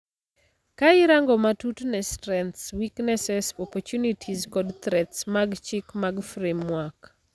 Ka irango matut ne strengths, weaknesses, opportunities kod threats mag chik mag framework.